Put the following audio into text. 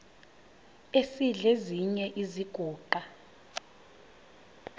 esidl eziny iziguqa